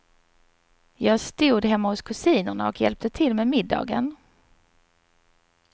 Jag stod hemma hos kusinerna och hjälpte till med middagen.